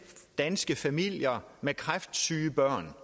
danske familier med kræftsyge børn